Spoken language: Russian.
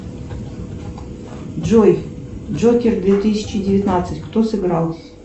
джой джокер две тысячи девятнадцать кто сыграл